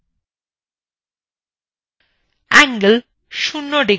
angle = ০ degrees